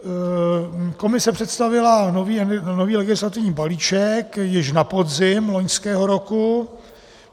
Komise představila nový legislativní balíček již na podzim loňského roku.